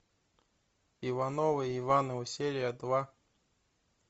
ивановы ивановы серия два